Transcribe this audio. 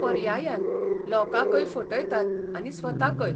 पर्यायान, लोकांकय फटयतात आनी स्वताकय.